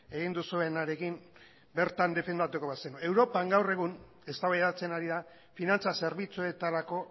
egin duzuenarekin bertan defendatuko bazenu europan gaur egun eztabaidatzen ari da finantza zerbitzuetarako